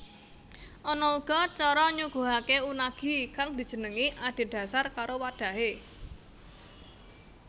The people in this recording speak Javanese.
Ana uga cara nyuguhake unagi kang dijenengi adhedhasar karo wadhahe